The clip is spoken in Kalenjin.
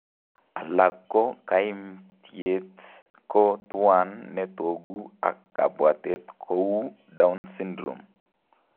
Alako kaimtyet ko tuwan netoku ak kabwatet kouu down syndrome